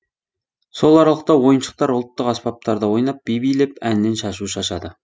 сол аралықта ойыншықтар ұлттық аспаптарда ойнап би билеп әннен шашу шашады